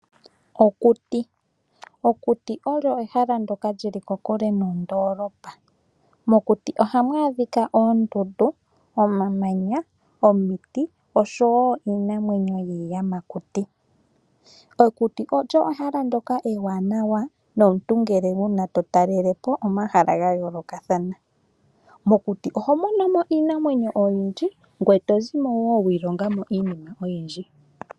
Okuti Okuti olyo ehala ndoka lyili kokule nondoolopa. Mokuti ohamu adhika oondundu, omamanya, omiti oshowo iinamwenyo yiiyamakuti. Okuti olyo ehala ndoka ewaanawa nomuntu ngele uuna to talele po omahala ga yoolokathana. Mokuti oho mono mo iinamwenyo oyindji, ngoye to zimo wo wiilonga mo iinima oyindji.